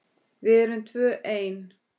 Við erum tvö ein.